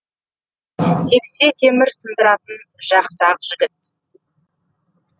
тепсе темір сындыратын жақсы ақ жігіт